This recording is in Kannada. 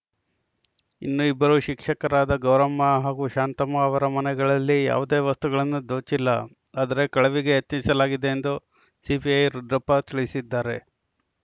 ಇನ್ನು ಇಬ್ಬರು ಶಿಕ್ಷಕರಾದ ಗೌರಮ್ಮ ಹಾಗೂ ಶಾಂತಮ್ಮ ಅವರ ಮನೆಗಳಲ್ಲಿ ಯಾವುದೇ ವಸ್ತುಗಳನ್ನು ದೋಚಿಲ್ಲ ಆದರೆ ಕಳವಿಗೆ ಯತ್ನಿಸಲಾಗಿದೆ ಎಂದು ಸಿಪಿಐ ರುದ್ರಪ್ಪ ತಿಳಿಸಿದ್ದಾರೆ